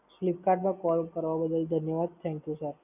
Fliptkart પર Call કરવા બદલ ધન્યવાદ. Thank You Sir.